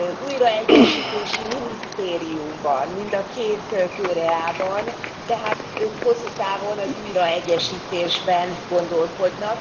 Újraegyesítési minisztérium van mind a két Koreában, tehát ők hosszú távon az újraegyesítésben gondolkodnak.